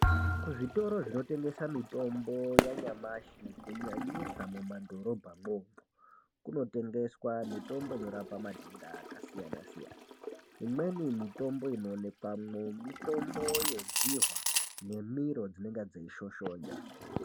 Kuzvitoro zvinotengesa mitombo yanyamashi kunyanisa mumadhorobhamwo, kunotengeswa mitombo inorapa matenda akasiyana siyana. Imweni mitombo inoonekwamwo, mitombo yedzihwa nemiro dzinenga dzeishoshonya.